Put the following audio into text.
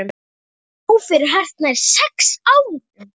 Dó fyrir hartnær sex árum.